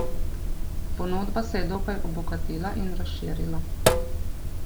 Ponudba se je dokaj obogatila in razširila.